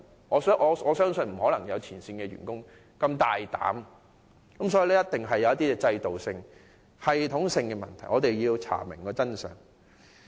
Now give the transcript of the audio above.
我相信沒有前線員工如此斗膽，背後一定有些系統性的問題，我們必須查明真相。